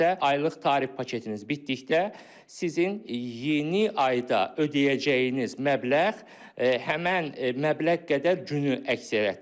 aylıq tarif paketiniz bitdikdə sizin yeni ayda ödəyəcəyiniz məbləğ həmən məbləğ qədər günü əks elətdirəcək.